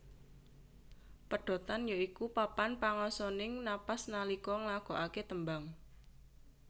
Pedhotan ya iku papan pangasoning napas nalika nglagokake tembang